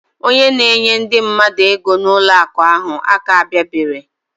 Onye na enye ndi mmadu ego na ụlọ akụ ahu aka abia bere.